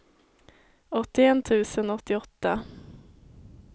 åttioett tusen åttioåtta